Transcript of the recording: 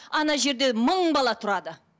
ана жерде мың бала тұрады